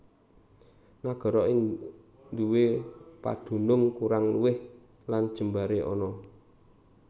Nagara iki nduwé padunung kurang luwih lan jembaré ana